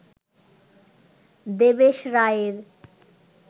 দেবেশ রায়ের